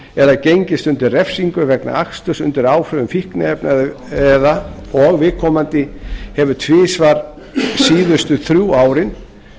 eða gengist undir refsingu vegna aksturs undir áhrifum fíkniefna og viðkomandi hefur tvisvar síðustu þrjú árin